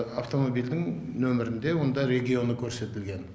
автомобильдің нөмірінде онда регионы көрсетілген